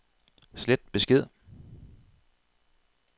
slet besked